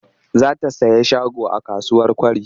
Za ta sayi shago a kasuwar Kwari.